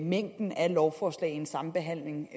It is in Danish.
mængden af lovforslag i en sambehandling